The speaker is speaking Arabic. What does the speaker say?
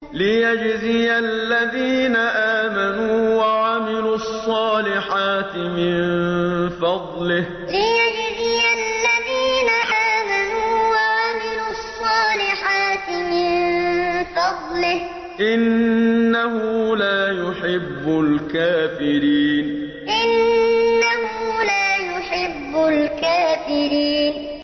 لِيَجْزِيَ الَّذِينَ آمَنُوا وَعَمِلُوا الصَّالِحَاتِ مِن فَضْلِهِ ۚ إِنَّهُ لَا يُحِبُّ الْكَافِرِينَ لِيَجْزِيَ الَّذِينَ آمَنُوا وَعَمِلُوا الصَّالِحَاتِ مِن فَضْلِهِ ۚ إِنَّهُ لَا يُحِبُّ الْكَافِرِينَ